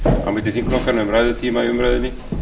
á milli þingflokkanna um ræðutíma í umræðunni